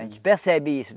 A gente percebe isso.